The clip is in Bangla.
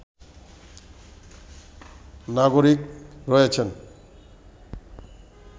নাগরিক রয়েছেন